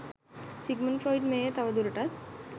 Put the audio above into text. Sigmund Freud මෙය තව දුරටත්